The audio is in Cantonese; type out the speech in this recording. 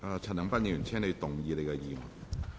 陳恒鑌議員，請動議你的議案。